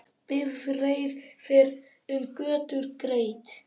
Bifreið fer um götur greitt.